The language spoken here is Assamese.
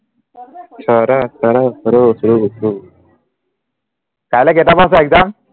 কাইলে কেইটাপা আছে exam